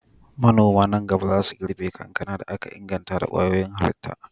Manoma nan gaba za su girbe kankana da aka inganta ta kwayoyin halitta.